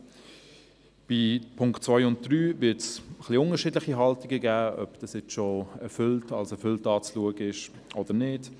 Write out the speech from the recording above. Zu den Punkten 2 und 3 wird es unterschiedliche Haltungen geben, ob diese nun bereits als erfüllt zu betrachten sind oder nicht.